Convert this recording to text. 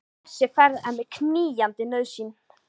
Þessi ferð er mér knýjandi nauðsyn.